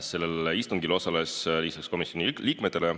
Sellel istungil osalesid lisaks komisjoni liikmetele